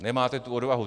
Nemáte tu odvahu.